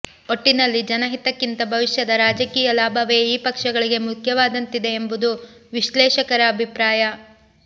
ಒಟ್ಟಿನಲ್ಲಿ ಜನ ಹಿತಕ್ಕಿಂತ ಭವಿಷ್ಯದ ರಾಜಕೀಯ ಲಾಭವೇ ಈ ಪಕ್ಷಗಳಿಗೆ ಮುಖ್ಯವಾದಂತಿದೆ ಎಂಬುದು ವಿಶ್ಲೇಷಕರ ಅಭಿಪ್ರಾಯ